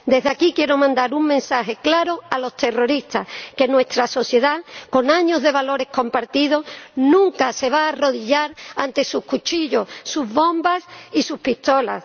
Desde aquí, quiero mandar un mensaje claro a los terroristas que nuestra sociedad, con años de valores compartidos, nunca se va a arrodillar ante sus cuchillos, sus bombas y sus pistolas.